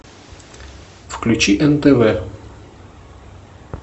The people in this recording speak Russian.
включи нтв